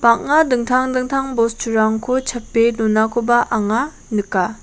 bang·a dingtang dingtang bosturangko chape donakoba anga nika.